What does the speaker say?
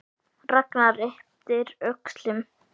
Ragnar yppti öxlum.